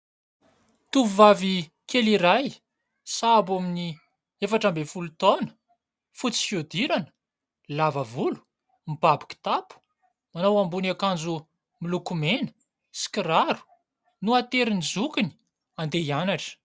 Tovovavy kely iray sahabo amin'ny efatra ambin'ny folo taona, fotsy fihodirana, lava volo, mibaby kitapo, manao ambony akanjo miloko mena sy kiraro no aterin'ny zokiny handeha hianatra.